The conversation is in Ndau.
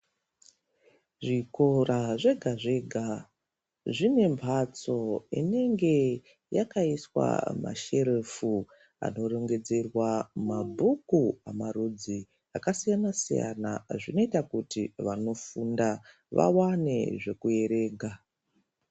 Zvikora zvega zvega zvinepatso inenge yakaiswa masherofu akarongedzerwa mabhuku akasiyana siyana zvinoita kuti vanofunda vawane zvekuwerenga